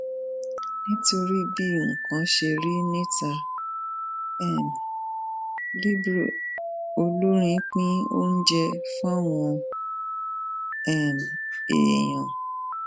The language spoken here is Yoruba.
nítorí bí nǹkan ṣe rí níta um libre olórin pín oúnjẹ fáwọn um èèyàn